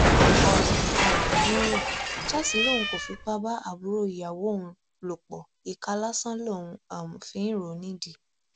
ọrọ um rúnrún charles lòun kò fipá bá àbúrò ìyàwó òun lò pọ ìka lásán lòun um fi ń rò ó nídìí